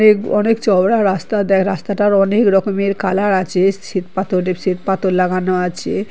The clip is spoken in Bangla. নেক অনেক চওড়া রাস্তা দেয় রাস্তাটার অনেক রকমের কালার আছে। শ্বেত পাথরে শ্বেত পাথর লাগানো আছে ।